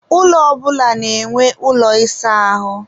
ụlọ ọbụla na-enwe ụlọ ịsa ahụ